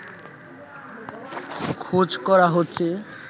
খোঁজ করা হচ্ছে